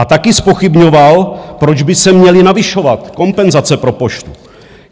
A taky zpochybňoval, proč by se měly navyšovat kompenzace pro Poštu.